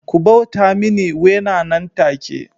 Ku bauta mini Wena nan take